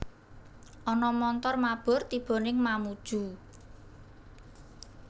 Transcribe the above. Ana montor mabur tibo ning Mamuju